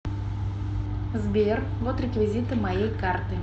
сбер вот реквизиты моей карты